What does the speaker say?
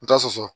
N ta soso